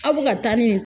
Aw bɛ ka taa nin